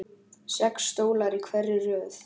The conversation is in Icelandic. Sex stólar í hverri röð.